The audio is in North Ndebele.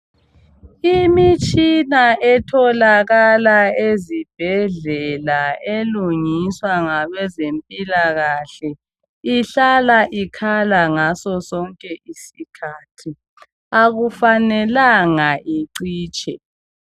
Imitshina etholakala ezibhedlela elungiswa ngabezempilakahle ihlala ikhala ngaso sonke isikhathi akufanelanga icitshe